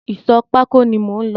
Ìsọ̀ pákó ni mò ń lọ.